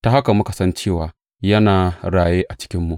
Ta haka muka san cewa yana raye a cikinmu.